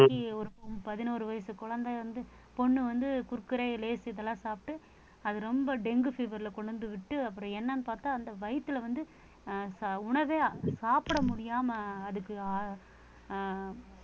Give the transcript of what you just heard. ஒரு பதினோரு வயசு குழந்தை வந்து பொண்ணு வந்து குர்குரே, லேஸ், இதெல்லாம் சாப்பிட்டு அது ரொம்ப dengue fever ல கொண்டு வந்து விட்டு அப்புறம் என்னன்னு பார்த்தா அந்த வயித்துல வந்து அஹ் உணவே சாப்பிட முடியாம அதுக்கு அஹ் அஹ்